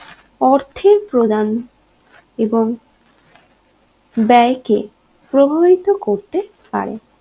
অর্থের প্রদান এবং ব্যায়কে প্রভাবিত করতে পারে